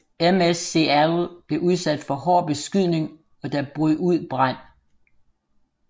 MS Seattle blev udsat for hård beskydning og der brød ud brand